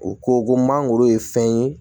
U ko ko mangoro ye fɛn ye